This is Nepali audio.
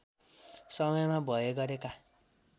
समयमा भए गरेका